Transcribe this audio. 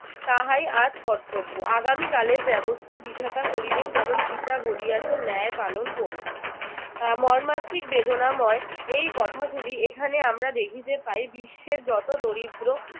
তাহাই আজ কর্তব্য আগামী কালের ব্যবস্থা বিধাতা করিবেন যেমন গীতা বলিয়েছে ন্যয় পালন করুন। মর্মান্তিক বেদনাময় এই কথাগুলি এখানে আমরা দেখিতে পাই বিশ্বের যত দরিদ্র